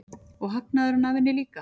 Og hagnaðurinn af henni líka.